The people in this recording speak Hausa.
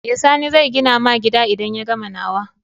Eh sani zai gina ma gida idan ya gama nawa